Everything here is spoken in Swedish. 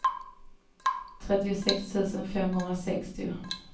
trettiosex tusen femhundrasextio